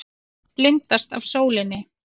Blindast af sólinni.